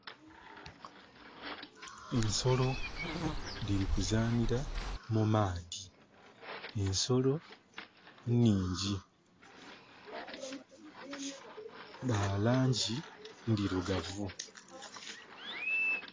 Ensolo diri kuzaanhira mu maadhi. Ensolo nnhingi. Dha langi ndirugavu